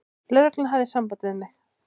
Lögreglan hafði samband við mig.